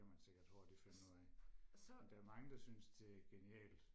det kan man sikkert hurtigt finde ud af men der er mange der synes det er genialt